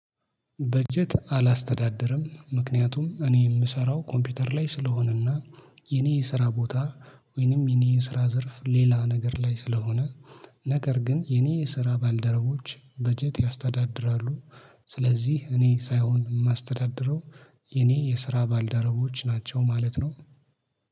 በጀት አላስተዳደርም ምክንያቱም እኔ የምሰራው ኮምፒውተር ላይ ስለሆነና የኔ ስራ ቦታ ወይንም የኔ የስራ ዘርፍ ሌላ ነገር ላይ ስለሆነ። ነገር ግን የኔ የስራ ባልደረቦች በጀት ያስተዳድራሉ። ስለዚህ እኔ ሳይሆን የማስተዳድረው የኔ የስራ ባልደረቦች ናቸው ማለት ነው